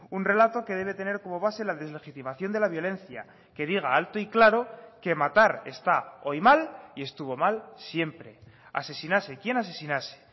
un relato que debe tener como base la deslegitimación de la violencia que diga alto y claro que matar está hoy mal y estuvo mal siempre asesinase quien asesinase